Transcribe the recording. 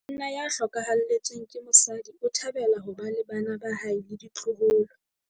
Monna ya hlokahaletsweng ke mosadi o thabela ho ba le bana ba hae le ditloholo.